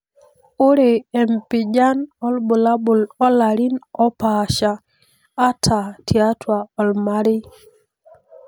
Ore empijan obulabul olarin opasha, ata tiatua omarei.